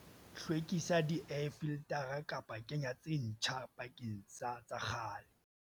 Hlwekisa di-air filtara kapa kenya tse ntjha bakeng sa tsa kgale.